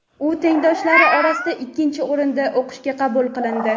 u tengdoshlari orasida ikkinchi o‘rinda o‘qishga qabul qilindi.